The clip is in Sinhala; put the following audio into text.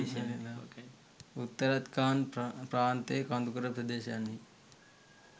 උත්තරාකන්ද් ප්‍රාන්තයේ කඳුකර ප්‍රදේශයන්හි